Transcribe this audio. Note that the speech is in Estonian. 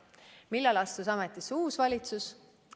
Millal astus ametisse uus valitsus?